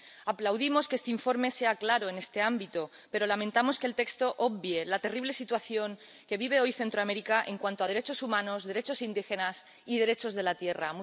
Aplaudimos que este informe sea claro en este ámbito, pero lamentamos que el texto obvie la terrible situación que vive hoy Centroamérica en cuanto a derechos humanos, derechos indígenas y derechos de la tierra.